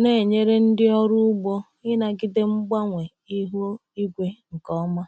na-enyere ndị ọrụ ugbo ịnagide mgbanwe ihu igwe nke ọma.